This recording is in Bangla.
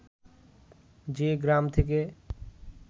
যে গ্রাম থেকে